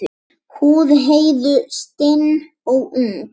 Húð Heiðu stinn og ung.